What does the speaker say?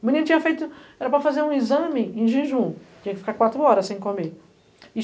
O menino tinha feito, era para fazer um exame em jejum, tinha que ficar quatro horas sem comer.